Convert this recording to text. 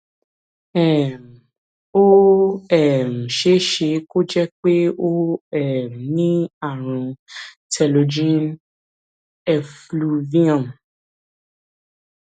um ó um ṣeé ṣe kó jẹ pé o um ní ààrùn telogen effluvium